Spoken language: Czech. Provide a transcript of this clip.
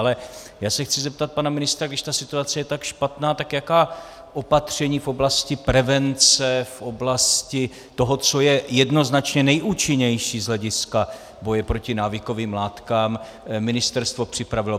Ale já se chci zeptat pana ministra, když ta situace je tak špatná, tak jaká opatření v oblasti prevence, v oblasti toho, co je jednoznačně nejúčinnější z hlediska boje proti návykovým látkám, ministerstvo připravilo.